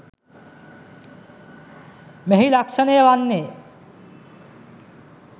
මෙහි ලක්‍ෂණය වන්නේ